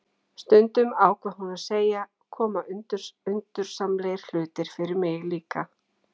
Stundum, ákvað hún að segja, koma undursamlegir hlutir fyrir mig líka